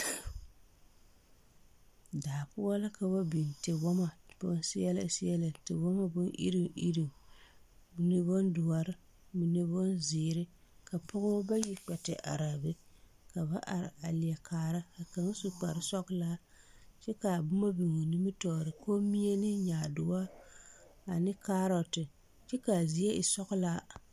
Daapoɔ la ka ba biŋ tiwɔmo